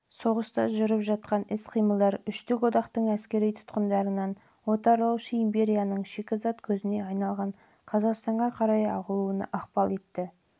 соғыста жүріп жатқан іс-қимылдар үштік одақтың әскери тұтқындарын отарлаушы империяның шикізат көзіне айналған қазақстанға қарай ағылуынан күшейе түсті